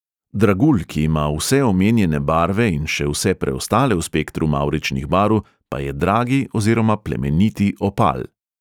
Dragulj, ki ima vse omenjene barve in še vse preostale v spektru mavričnih barv, pa je dragi oziroma plemeniti opal.